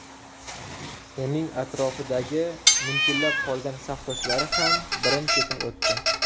Uning atrofidagi munkillab qolgan safdoshlari ham birin-ketin o‘tdi.